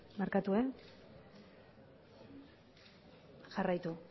barkatu jarraitu